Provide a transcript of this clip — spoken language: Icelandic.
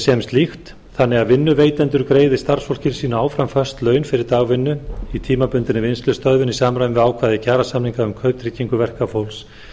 sem slíkt þannig að vinnuveitendur greiði starfsfólki sínu áfram föst laun fyrir dagvinnu í tímabundinni vinnslustöðvun í samræmi við ákvæði kjarasamninga um kauptryggingu verkafólks